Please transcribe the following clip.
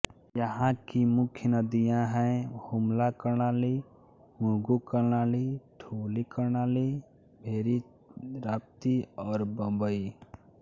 यहाँ की मुख्य नदियाँ हैं हुम्ला कर्णाली मुगू कर्णाली ठुली कर्णाली भेरी राप्ती और बबई